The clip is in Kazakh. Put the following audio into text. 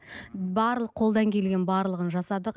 барлық қолдан келген барлығын жасадық